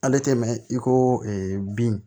Ale tɛ mɛn i ko bin